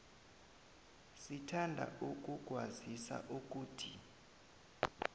sithanda ukukwazisa ukuthi